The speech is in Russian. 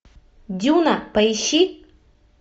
дюна поищи